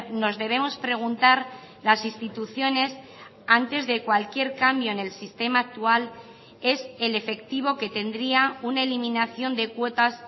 nos debemos preguntar las instituciones antes de cualquier cambio en el sistema actual es el efectivo que tendría una eliminación de cuotas